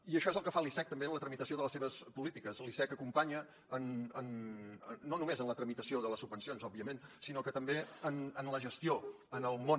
i això és el que fa l’icec també en la tramitació de les seves polítiques l’icec acompanya no només en la tramitació de les subvencions òbviament sinó també en la gestió en el món